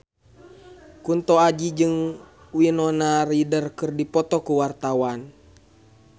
Kunto Aji jeung Winona Ryder keur dipoto ku wartawan